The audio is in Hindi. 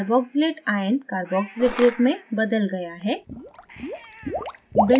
carboxylate ioncarboxylic group में बदल गया है